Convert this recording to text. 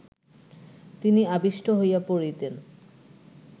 তিনি আবিষ্ট হইয়া পড়িতেন